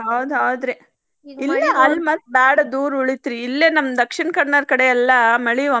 ಹೌದ್ ಹೌದ್ರಿ ಅಲ್ಲೇ ಮತ್ತ್ ಬಾಳ ದೂರ್ ಉಳಿತ್ರಿ ಇಲ್ಲೇ ನಮ್ಮ್ ದಕ್ಷಿಣಕನ್ನಡ್ ಕಡೆ ಮಳಿ ಒಮ್ಮೆ